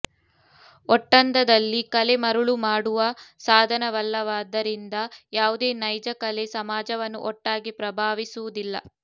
ಒಟ್ಟಂದದಲ್ಲಿ ಕಲೆ ಮರುಳು ಮಾಡುವ ಸಾಧನವಲ್ಲವಾದ್ದರಿಂದ ಯಾವುದೇ ನೈಜಕಲೆ ಸಮಾಜವನ್ನು ಒಟ್ಟಾಗಿ ಪ್ರಭಾವಿಸುವುದಿಲ್ಲ